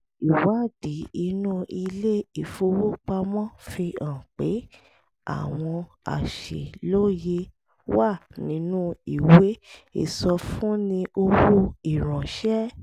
ìwádìí inú ilé ìfowópamọ́ fi hàn pé àwọn àṣìlóye wà nínú ìwé ìsọfúnni owó ìránṣẹ́